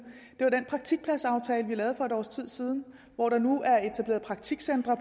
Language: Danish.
det er den praktikpladsaftale vi lavede for et års tid siden hvor der nu er etableret praktikcentre